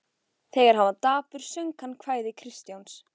Þegar hann var dapur söng hann kvæði Kristjáns